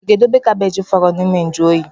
Ịga-edobe gabej fọrọ n’ime njuoyi?